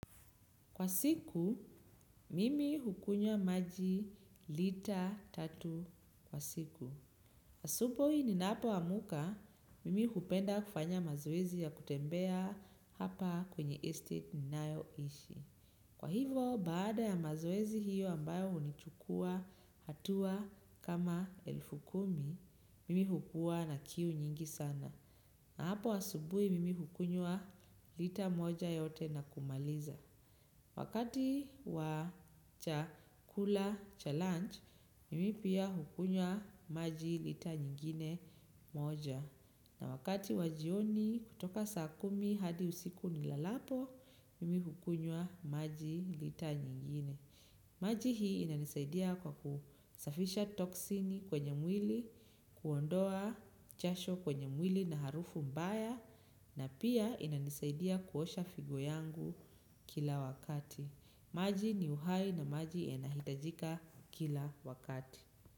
Kwa siku, mimi hukunywa maji lita tatu kwa siku. Asubuhi ninapoamka, mimi hupenda kufanya mazoezi ya kutembea hapa kwenye estate ninayoishi. Kwa hivo, baada ya mazoezi hiyo ambayo hunichukua hatua kama elfu kumi, mimi hukua na kiu nyingi sana. Na hapo asubuhi, mimi hukunywa lita moja yote na kumaliza. Wakati wa chakula cha lunch, mimi pia hukunywa maji lita nyingine moja. Na wakati wa jioni kutoka saa kumi hadi usiku nilalapo, mimi hukunwa maji lita nyingine. Maji hii inanisaidia kwa kusafisha toksini kwenye mwili, kuondoa jasho kwenye mwili na harufu mbaya. Na pia inanisaidia kuosha figo yangu kila wakati. Maji ni uhai na maji inahitajika kila wakati.